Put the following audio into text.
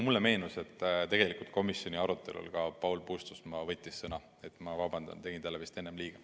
Mulle meenus, et tegelikult võttis komisjoni arutelul sõna ka Paul Puustusmaa, ma vabandan, tegin talle vist enne liiga.